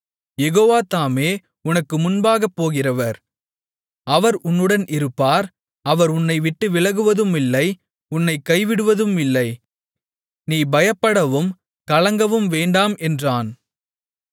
யெகோவா தாமே உனக்கு முன்பாகப் போகிறவர் அவர் உன்னுடன் இருப்பார் அவர் உன்னைவிட்டு விலகுவதுமில்லை உன்னைக் கைவிடுவதுமில்லை நீ பயப்படவும் கலங்கவும் வேண்டாம் என்றான்